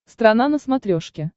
страна на смотрешке